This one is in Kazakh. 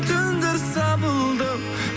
түндер сабылдым